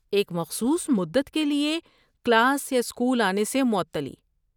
ایک مخصوص مدت کے لیے کلاس اسکول آنے سے معطلی